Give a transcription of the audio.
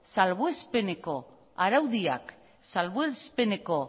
salbuespeneko arauak salbuespeneko